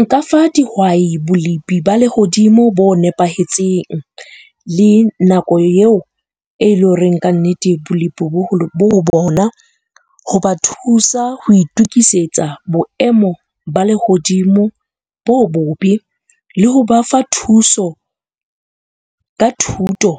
Nka fa dihwai bolepi ba lehodimo bo nepahetseng. Le nako eo e leng horeng ka nnete bolepi bo ho bona ho ba thusa ho itukisetsa boemo ba lehodimo bo bobe, le ho ba fa thuso ka thuto